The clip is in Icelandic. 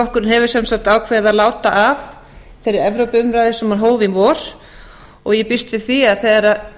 framsóknarflokkurinn hefur sem sagt ákveðið að láta af þeirri evrópuumræðu sem hann hóf í vor og ég býst við því að þegar